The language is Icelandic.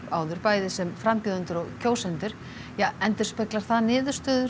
áður bæði sem frambjóðendur og kjósendur endurspeglar það niðurstöður